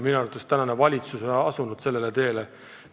Minu arvates tänane valitsus on asunud sellele teele.